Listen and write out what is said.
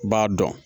B'a dɔn